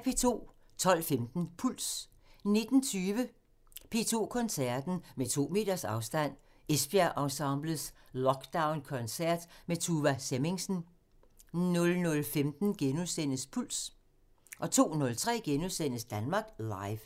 12:15: Puls 19:20: P2 Koncerten – Med to meters afstand: Esbjerg Ensemblets lockdown-koncert med Tuva Semmingsen 00:15: Puls * 02:03: Danmark Live *